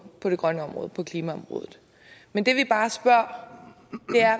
det grønne område på klimaområdet men det vi bare spørger